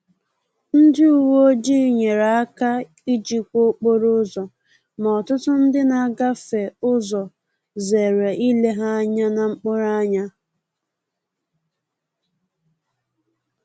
Ndị uweojii nyere aka ijikwa okporo ụzọ, ma ọtụtụ ndị na-agafe ụzọ zere ile ha anya na mkpụrụ anya